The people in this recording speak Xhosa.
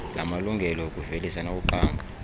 lamalungelo okuvelisa nokuqamba